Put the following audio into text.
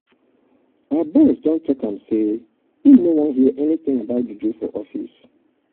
our boss don tok um am sey im no wan hear anytin about juju for office.